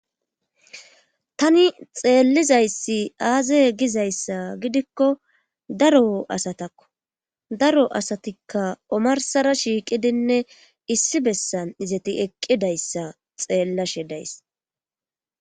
tani xeellizayssi aaze gizayssa gidikko daro asatakko daro asatikka omarsara shiiqidinne issi bessan izati eqqidayssa xeellashe days